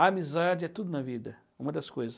A amizade é tudo na vida, uma das coisas.